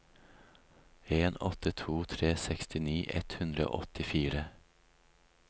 en åtte to tre sekstini ett hundre og åttifire